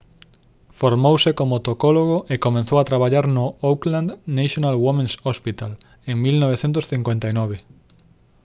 formouse como tocólogo e comezou a traballar no auckland's national women's hospital en 1959